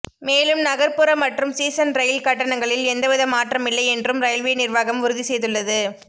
மேலும் நகர்ப்புற மற்றும் சீசன் ரயில் கட்டணங்களில் எந்தவித மாற்றமில்லை என்றும் ரயில்வே நிர்வாகம் உறுதி செய்துள்ளது